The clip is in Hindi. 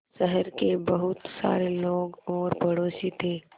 शहर के बहुत सारे लोग और पड़ोसी थे